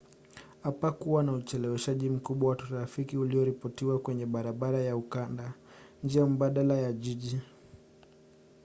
hapakuwa na ucheleweshwaji mkubwa wa trafiki ulioripotiwa kwenye barabara ya ukanda njia mbadala ya jiji